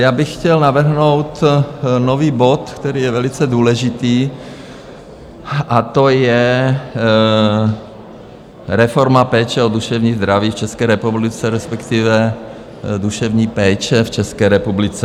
Já bych chtěl navrhnout nový bod, který je velice důležitý, a to je Reforma péče o duševní zdraví v České republice, respektive duševní péče v České republice.